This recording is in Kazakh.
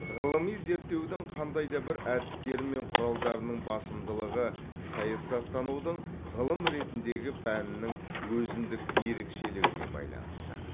ғылыми зерттеудің қандай да бір әдістері мен құралдарының басымдылығы саясаттанудың ғылым ретіндегі пәнінің өзіндік ерекшелігіне байланысты